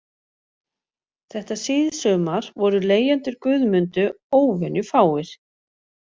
Þetta síðsumar voru leigjendur Guðmundu óvenjufáir